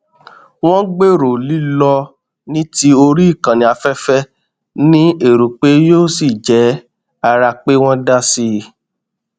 wọn gbèrò lílọ ní tí orí ìkànnì afẹfẹ ní èrò pé yóò sì jẹ ara pé wọn dá sí i